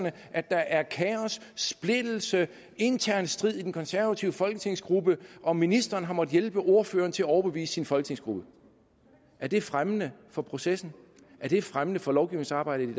at der er kaos splittelse og intern strid i den konservative folketingsgruppe og ministeren har måttet hjælpe ordføreren til at overbevise sin folketingsgruppe er det fremmende for processen er det fremmende for lovgivningsarbejdet i